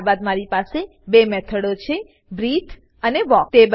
ત્યારબાદ મારી પાસે બે મેથડો છે બ્રીથે અને વાલ્ક